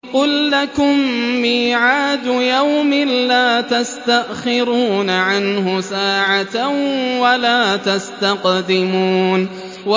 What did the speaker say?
قُل لَّكُم مِّيعَادُ يَوْمٍ لَّا تَسْتَأْخِرُونَ عَنْهُ سَاعَةً وَلَا تَسْتَقْدِمُونَ